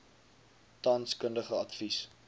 tans kundige advies